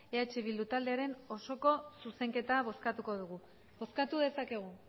eh bildu taldearen osoko zuzenketa bozkatuko dugu bozkatu dezakegu